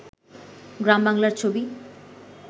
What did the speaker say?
গ্রাম বাংলার ছবি